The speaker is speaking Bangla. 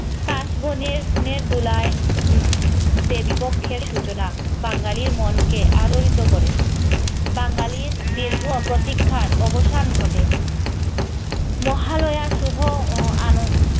কাশ বনের দোলায় উম দেবীপক্ষের সূচনা বাঙালির মনকে আলোড়িত করে বাঙালির দীর্ঘ প্রতিক্ষার অবসান ঘটে মহালয়ার শুভ